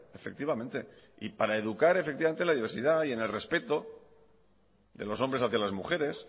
efectivamente y para educar en la diversidad y en el respeto de los hombres hacia las mujeres